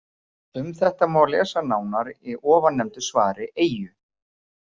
Um þetta má lesa nánar í ofannefndu svari Eyju.